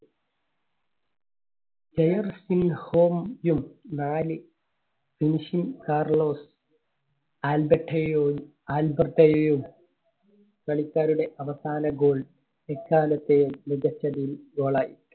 നാല് കാർലോസ് ആൽബെർട്ടയെയും, ആൽബെർട്ടയെയും കളിക്കാരുടെ അവസാന goal എക്കാലത്തെയും മികച്ച ഒരു goal യി